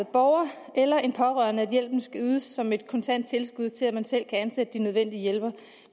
borger eller en pårørende at hjælpen skal ydes som et kontant tilskud til at man selv kan ansætte de nødvendige hjælpere